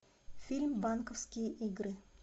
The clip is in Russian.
фильм банковские игры